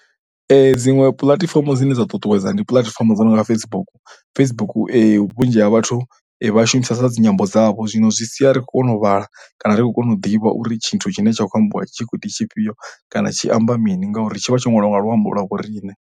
Dziṅwe puḽatifomo dzine dza ṱuṱuwedza ndi puḽatifomo dzo no nga Facebook. Facebook vhunzhi ha vhathu vha shumisesa dzi nyambo dzavho zwino zwi sia ri kho kona u vhala kana ri khou kona u ḓivha uri tshithu tshine tsha khou ambiwa tshi khou ḓi tshifhio kana tshi amba mini ngauri tshi vha tsho ṅwalwa nga luambo lwa vho riṋe.